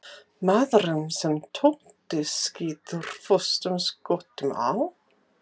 Maðurinn sem Totti skýtur föstum skotum á?